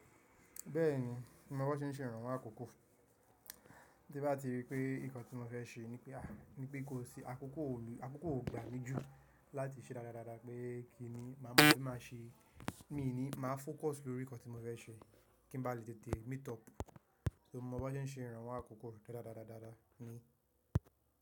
Bẹ́ẹ̀ni, mo mọ bí wọ́n ṣe ń ṣe ìrànwọ́ àkókò. Tí bá ti rí pé nǹkan tí mo fẹ́ ṣe nipé kó sí àkókò, àkókò ò gbà mí jù láti ṣe dáradára pé kí ni màá mọ̀ bí maa ṣe. Mii ní máa fócus lórí ǹnkan tí mo fẹ́ ṣe kí n bá lè tètè meet up. So mo mọ bí wọ́n ṣe ń ṣe ìrànwọ́ àkókò dádadádadada mi.